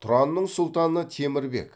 тұранның сұлтаны темір бек